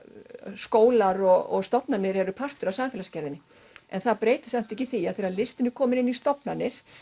skólar og stofnanir eru partur af samfélagsgerðinni en það breytir samt ekki því að þegar listin er kominn inn í stofnanir